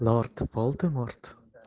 лорд волдеморт